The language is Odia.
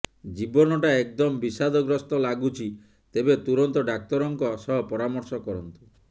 ଜୀବନଟ ଏକଦମ ବିଶାଦଗ୍ରସ୍ତ ଲାଗୁଛି ତେବେ ତୁରନ୍ତ ଡାକ୍ତରଙ୍କ ସହ ପରାମର୍ଶ କରନ୍ତୁ